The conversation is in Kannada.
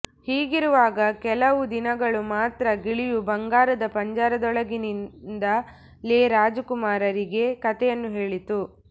ಹೀಗಿರುವಾಗ ಕೆಲವು ದಿನಗಳು ಮಾತ್ರ ಗಿಳಿಯು ಬಂಗಾರದ ಪಂಜರದೊಳಗಿನಿಂದಲೇ ರಾಜಕುಮಾರಿಗೆ ಕಥೆಗಳನ್ನು ಹೇಳಿತು